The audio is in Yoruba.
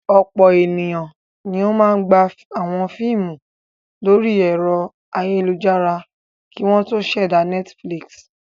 Ọ̀pọ̀ ènìyàn ni ó máa gba àwọn fíímù lórí ẹ̀rọ ayélujára kí wọ́n tó ṣẹ̀dá Netflix.